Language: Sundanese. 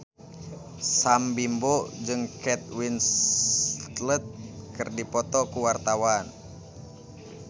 Sam Bimbo jeung Kate Winslet keur dipoto ku wartawan